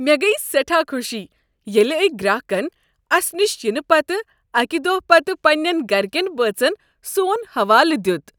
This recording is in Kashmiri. مےٚ گیہ سیٹھاہ خوشی ییٚلہ أکۍ گراكن اسہ نِش ینہ پتہٕ اکہ دۄہہ پتہ پنین گرٕ كین بٲژن سون حوالہٕ دیت۔